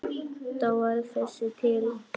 Þá varð þessi til.